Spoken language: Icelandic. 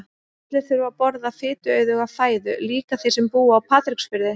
Allir þurfa að borða fituauðuga fæðu, líka þeir sem búa á Patreksfirði.